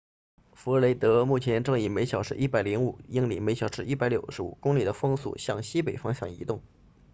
弗雷德目前正以每小时105英里每小时165公里的风速向西北方向移动